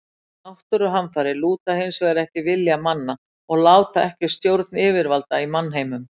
Náttúruhamfarir lúta hins vegar ekki vilja manna og láta ekki að stjórn yfirvalda í mannheimum.